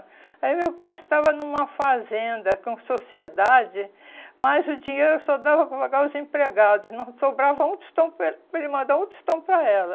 Aí meu pai estava numa fazenda com sociedade, mas o dinheiro só dava para pagar os empregados, não sobrava um tostão para ele para ele mandar um tostão para ela.